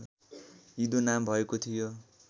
इदो नाम भएको थियो